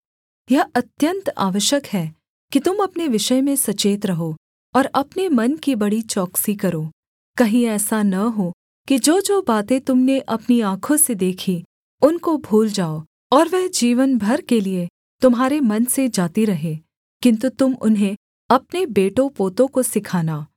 यह अत्यन्त आवश्यक है कि तुम अपने विषय में सचेत रहो और अपने मन की बड़ी चौकसी करो कहीं ऐसा न हो कि जोजो बातें तुम ने अपनी आँखों से देखीं उनको भूल जाओ और वह जीवन भर के लिये तुम्हारे मन से जाती रहें किन्तु तुम उन्हें अपने बेटों पोतों को सिखाना